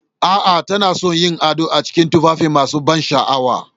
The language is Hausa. A'a, tana son yin ado a cikin tufafi masu ban sha'awa